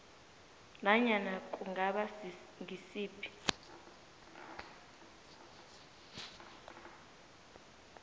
nanyana kungaba ngisiphi